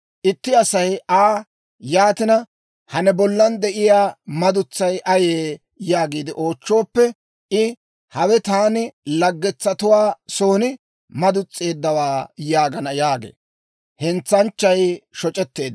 Itti Asay Aa, ‹Yaatina, ha ne bollan de'iyaa madutsay ayee?› yaagiide oochchooppe, I, ‹Hawe taani ta laggetuwaa son madus's'eeddawaa› yaagana» yaagee.